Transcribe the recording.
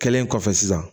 Kɛlen kɔfɛ sisan